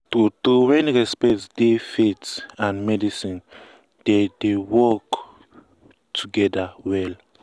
true true when respect dey faith and medicine dey dey work together well.